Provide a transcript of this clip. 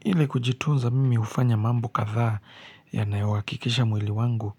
Ili kujitunza mimi hufanya mambo kadhaa yanayohakikisha mwili wangu